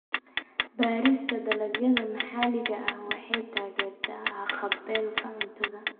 Beerista dalagyada maxalliga ah waxay taageertaa haqab-beelka cuntada.